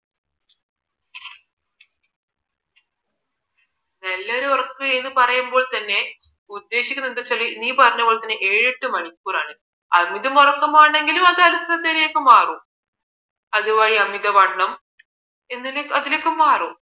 നല്ലൊരു ഉറക്കം എന്ന് പറയുമ്പോൾ തന്നെ ഉദ്ദേശിക്കുന്നത് എന്ത് എന്ന് വച്ചാൽ നീ പറഞ്ഞത് പോലെ ഏഴ് എട്ട് മണിക്കൂറാണ് അതിലും ഉറക്കമാണെങ്കിൽ അത് അതുവഴി അമിതവണ്ണം എന്നിലേക്ക് അതിലേക്ക് മാറും